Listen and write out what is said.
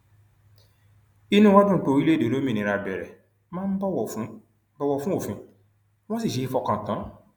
inú wa dùn pé orílẹèdè olómìnira bẹrẹ máa ń bọwọ fún bọwọ fún òfin wọn sì ṣeé fọkàn tán